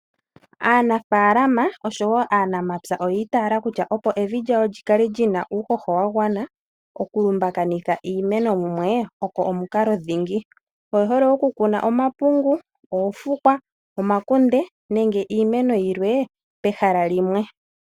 Aanafaalama osho wo aanamapya oya itayela kutya opo evi lyawo lyikale lyina uuhoho wagwana, okulumbakaneka iimeno mumwe oko omukalo dhingi. Oye hole oku kuna omapungu, oofukwa, omakunde nenge iimeno yilwe pehala limwe.